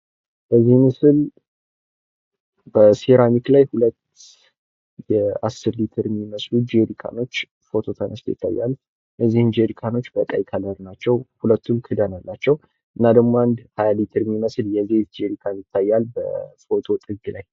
በዚህ ምስል ሴራሚክ ላይ ሀለት የአስር ሌትር የሚመስሉ ጀሪካኖች ፎቶ ተነስተው ይታያሉ። እነዚህም ጀሪካኖች በቀይ ቀለም ናቸው። ሁለቱም ክዳን አላቸው። እና ደሞ አንድ 20 ሌትር የሚመስል የዘይት ጀሪካም ይታያል በፎቶው ጥግ ላይ።